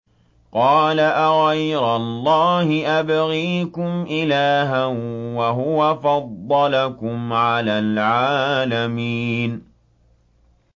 قَالَ أَغَيْرَ اللَّهِ أَبْغِيكُمْ إِلَٰهًا وَهُوَ فَضَّلَكُمْ عَلَى الْعَالَمِينَ